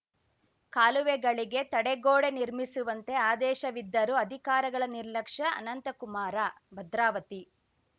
ಕಾಲುವೆಗಳಿಗೆ ತಡೆಗೋಡೆ ನಿರ್ಮಿಸುವಂತೆ ಆದೇಶಿವಿದ್ದರೂ ಅಧಿಕಾರಗಳ ನಿರ್ಲಕ್ಷ್ಯ ಅನಂತಕುಮಾರ ಭದ್ರಾವತಿ